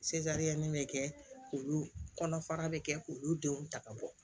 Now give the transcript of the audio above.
bɛ kɛ k'olu kɔnɔfara bɛ kɛ k'olu denw ta ka bɔ